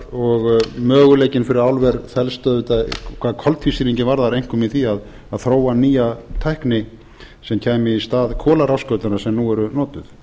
og möguleikinn fyrir álver felst auðvitað hvað koltvísýringinn einkum í því að þróa nýja tækni sem kæmi í stað kolarafskautanna sem nú eru notuð